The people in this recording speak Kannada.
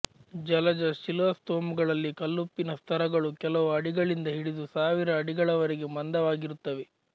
ಜಲಜ ಶಿಲಾಸ್ತೋಮಗಳಲ್ಲಿ ಕಲ್ಲುಪ್ಪಿನ ಸ್ತರಗಳು ಕೆಲವು ಅಡಿಗಳಿಂದ ಹಿಡಿದು ಸಾವಿರ ಅಡಿಗಳವರೆಗೆ ಮಂದವಾಗಿರುತ್ತವೆ